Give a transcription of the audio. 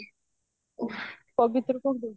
ପବିତ୍ର କଣ ଦଉଚି